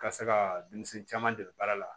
Ka se ka denmisɛn caman dege baara la